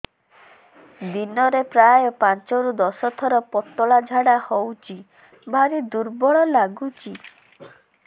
ଦିନରେ ପ୍ରାୟ ପାଞ୍ଚରୁ ଦଶ ଥର ପତଳା ଝାଡା ହଉଚି ଭାରି ଦୁର୍ବଳ ଲାଗୁଚି